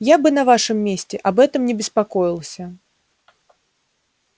я бы на вашем месте об этом не беспокоился